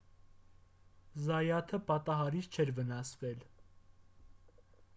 զայաթը պատահարից չէր վնասվել